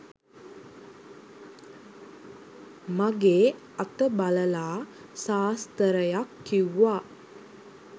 මගේ අත බලලා සාස්තරයක් කිව්වා.